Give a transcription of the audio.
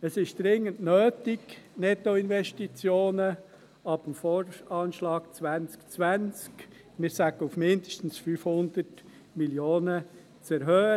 Es ist dringend nötig, die Nettoinvestitionen ab dem Voranschlag (VA) 2020, wir sagen auf mindestens 500 Mio. Franken, zu erhöhen.